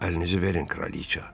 Əlinizi verin, kraliçə.